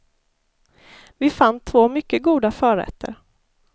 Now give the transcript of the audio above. Vi fann två mycket goda förrätter.